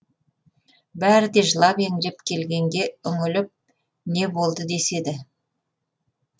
бәрі де жылап еңіреп келгенге үңіліп не болды деседі